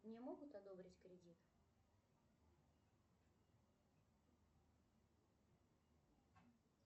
мне могут одобрить кредит